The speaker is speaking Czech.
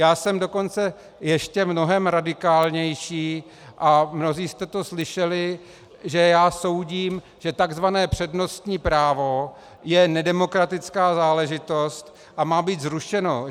Já jsem dokonce ještě mnohem radikálnější, a mnozí jste to slyšeli, že já soudím, že tzv. přednostní právo je nedemokratická záležitost a má být zrušeno.